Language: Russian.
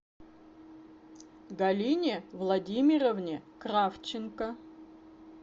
галине владимировне кравченко